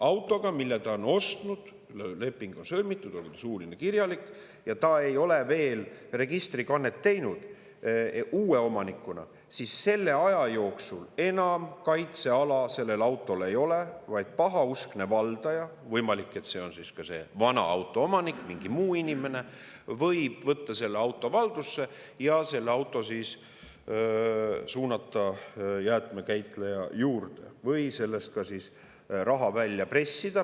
– auto puhul, mille ta on ostnud, leping on sõlmitud, olgu see suuline või kirjalik, ja ta ei ole veel registrikannet teinud uue omanikuna, siis selle aja jooksul enam kaitseala sellele autole ei ole, vaid pahauskne valdaja – võimalik, et see on selle auto vana omanik või mingi muu inimene – võib võtta selle auto valdusse ja suunata jäätmekäitleja juurde või selle eest ka raha välja pressida.